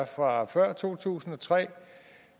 fra før to tusind og tre